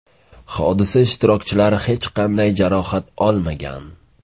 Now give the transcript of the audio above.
Hodisa ishtirokchilari hech qanday jarohat olmagan.